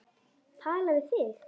Tala við þig?